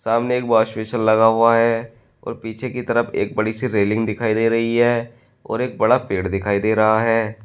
सामने एक wash basin लगा हुआ है और पीछे की तरफ एक बड़ी से रेलिंग दिखाई दे रही है और एक बड़ा पेड़ दिखाई दे रहा है।